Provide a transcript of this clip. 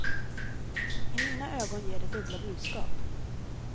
I mina ögon ger det dubbla budskap.